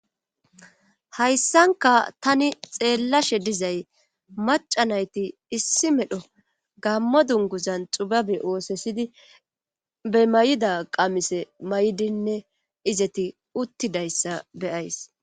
hayssanka tani xeellashe dizay macanayti issi medho gammo dunguzan xubabe oosesidi be may7ida qamise may7dinne izeti uttidayssa be'ays